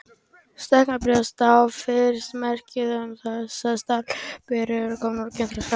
Stækkun brjósta er gjarnan fyrstu merki þess að stelpa er komin á kynþroskaskeið.